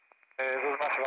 Ə, özü də paqa?